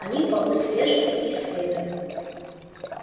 они полны свежести и света